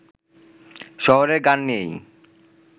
শহরের গান নিয়েই